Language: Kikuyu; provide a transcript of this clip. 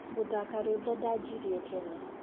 Ngũthaka rwĩmbo ndajirie tene.